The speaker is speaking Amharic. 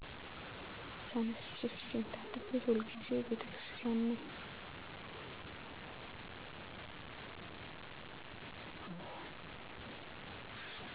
ተነስቸ ፊቴን ታጥቤ ሁል ጊዜም ቤተክርስቲያን ነኝ።